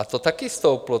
A to taky stouplo.